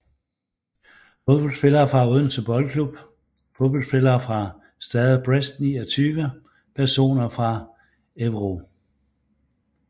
Fodboldspillere fra Odense Boldklub Fodboldspillere fra Stade Brest 29 Personer fra Évreux